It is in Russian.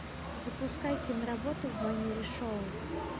запускай киноработу в манере шоу